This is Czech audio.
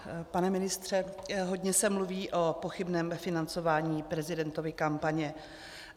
Pane ministře, hodně se mluví o pochybném financování prezidentovy kampaně.